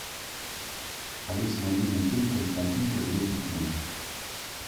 алиса найди мне фильм константин повелитель тьмы